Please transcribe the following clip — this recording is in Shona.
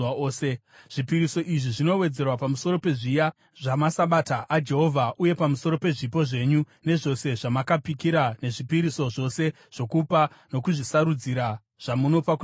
Zvipiriso izvi zvinowedzerwa pamusoro pezviya zvamaSabata aJehovha uye pamusoro pezvipo zvenyu nezvose zvamakapikira nezvipiriso zvose zvokupa nokuzvisarudzira zvamunopa kuna Jehovha.